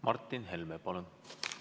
Martin Helme, palun!